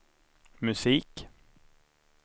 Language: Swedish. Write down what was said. musik